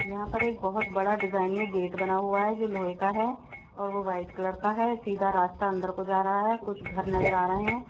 यहां पर एक बहोत बड़ा डिजाइन मे गेट बना हुआ है जो लोहे का है और वो व्हाइट कलर का है सीधा रास्ता अंदर को जा रहा है कुछ घर नज़र आ रहे है।